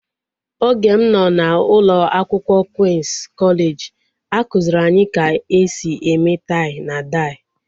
Oge m nọ n'ụlọ akwụkwọ Queen's kọleji a kụziri anyị ka e si eme tai na dai